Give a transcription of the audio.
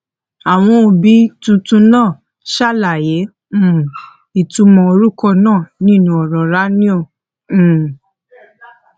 àwọn òbí tuntun náà ṣàlàyé um ìtumọ orúkọ náà nínú ọrọ ráńoẹ um